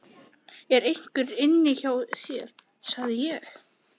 ER EINHVER INNI HJÁ ÞÉR, SAGÐI ÉG?